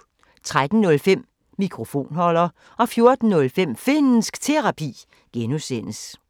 13:05: Mikrofonholder 14:05: Finnsk Terapi (G)